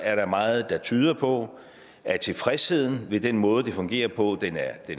er der meget der tyder på at tilfredsheden med den måde det fungerer på